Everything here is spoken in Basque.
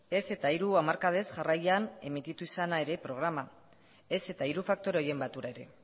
ez eta hiru hamarkadez jarraian emititu izana ere programa ez eta hiru faktore horien batura ere